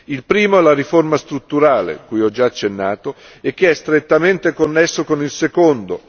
Il primo è la riforma strutturale, cui ho già accennato e che è strettamente connesso con il secondo.